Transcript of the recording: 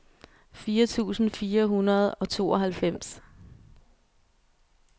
fire tusind fire hundrede og tooghalvfems